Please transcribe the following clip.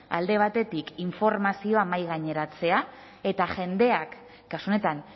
alde batetik informazioa mahaigaineratzea eta jendeak kasu honetan